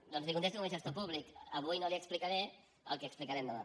doncs li contesto com a gestor públic avui no li explicaré el que explicarem demà